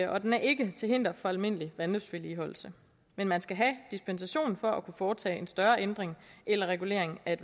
og den er ikke til hinder for almindelig vandløbsvedligeholdelse men man skal have dispensation for at kunne foretage en større ændring eller regulering af